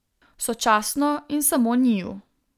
Sočasno in samo njiju.